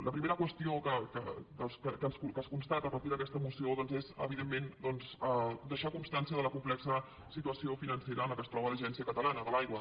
la primera qüestió que es constata a partir d’aquesta moció doncs és evidentment deixar constància de la complexa situació financera en què es troba l’agència catalana de l’aigua